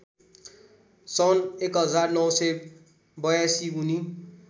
सन् १९८२ उनी